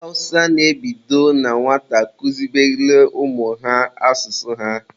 Ndị Awụsa na-ebido na nwata kuzibelụ ụmụ ha asụsụ ha.